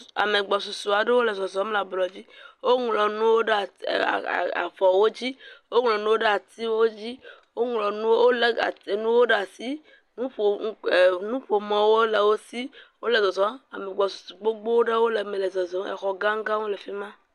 Ame gbɔsusu aɖewo le zɔzɔm le ablɔ dzi, woŋlɔ nuwo ɖe at.e.eee.e.e..avɔwo dzi, woŋlɔ nuwo ɖe atiwo dzi woŋlɔ nuwo wolé nuwo ɖe asi, nuƒo…em..nuƒomɔwo le wo si wole zɔzɔm ame gbɔ su gbogbo aɖewo le eme le zɔzɔm exɔ gãgãwo le fi ma.